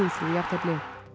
jafntefli